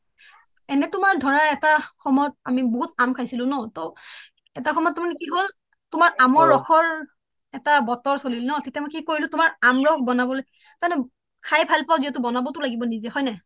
এনে তোমাৰ ধৰা এটা সময়ত আমি বহুত আম খাইছিলো ন তহ এটা সময়ত তাৰ মানে কি হল তোমাৰ আমৰ ৰসৰ এটা বটৰ চলিল ন তেতিয়া মই তোমাৰ কি কৰিলোঁ তোমাৰ আম ৰস বনাবলৈ তাৰ মানে খাই ভাল পাওঁ যেতিয়া বনাব টো লাগিব নিজে হয় নাই